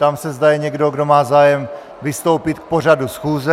Ptám se, zda je někdo, kdo má zájem vystoupit k pořadu schůze.